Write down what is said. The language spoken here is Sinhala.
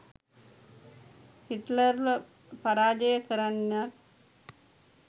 හිට්ලර්ව පරාජය කරන්නත්